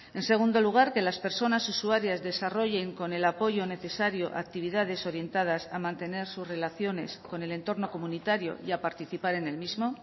en segundo lugar que las personas usuarias desarrollen con el apoyo necesario actividades orientadas a mantener sus relaciones con el entorno comunitario y a participar en el mismo